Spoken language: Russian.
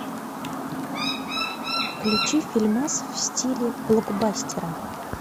включи фильмас в стиле блокбастера